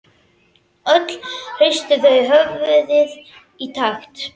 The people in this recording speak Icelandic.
Öll hristu þau höfuðið í takt.